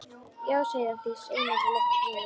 Já, segir Arndís einörð og lyftir brúnum.